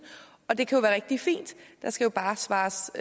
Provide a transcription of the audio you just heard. og det kan jo være rigtig fint der skal bare svares